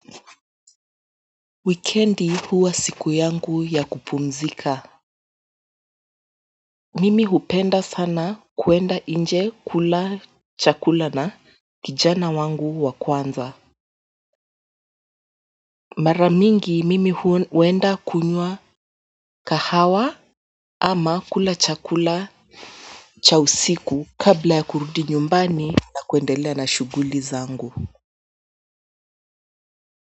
Wikendi huwa siku yangu ya kupumzika Mimi hupenda sana kwenda inje kula chakula na kijana wangu wa kwanza mara mingi mimi huenda kunywa kahawa ama kula chakula cha usiku kabla ya kurudi nyumbani na kuendelea na shughuli zangu.